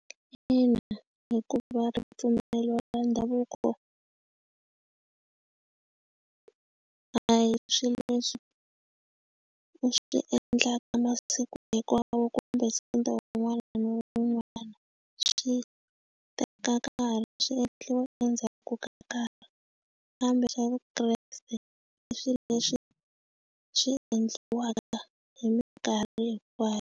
Ina, hikuva ripfumelo ra ndhavuko a hi swilo leswi u swi endlaka masiku hinkwawo kumbe sonto van'wana van'wana swi teka nkarhi swi endliwa endzhaku ka nkarhi kambe swa vukreste leswi leswi swi endliwaka hi mikarhi hinkwayo.